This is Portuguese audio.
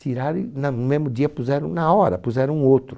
Tiraram e na no mesmo dia puseram na hora, puseram outro.